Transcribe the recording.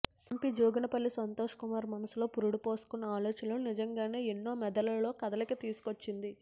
MP Joginipally Santosh Kumar మనసులో పురుడు పోసుకున్న ఆ ఆలోచన నిజంగానే ఎన్నో మెదళ్లలో కదలిక తీసుకొచ్చింది